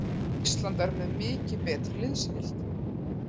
Ísland er með mikið betri liðsheild